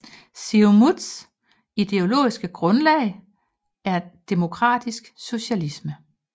Siumuts ideologiske grundlag er demokratisk socialisme